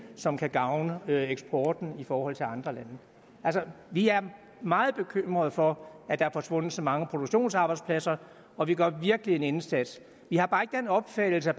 som kan gavne eksporten i forhold til andre lande altså vi er meget bekymrede for at der er forsvundet så mange produktionsarbejdspladser og vi gør virkelig en indsats vi har bare ikke den opfattelse at